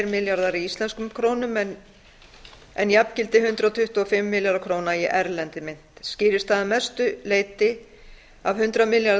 milljarðar í íslenskum krónum en jafngildi hundrað tuttugu og fimm milljarða króna í erlendri mynt skýrist það að mestu leyti af eins milljarðs